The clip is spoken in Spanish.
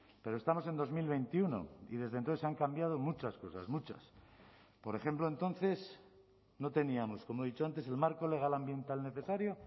pero estamos en dos mil veintiuno y desde entonces han cambiado muchas cosas muchas por ejemplo entonces no teníamos como he dicho antes el marco legal ambiental necesario